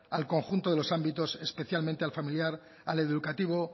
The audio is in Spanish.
al conjunto de los ámbitos especialmente al familiar al educativo